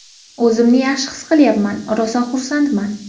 O‘zimni yaxshi his qilyapman, rosa xursandman.